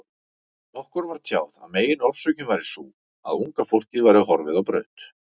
Okkur var tjáð að meginorsökin væri sú, að unga fólkið væri horfið á braut.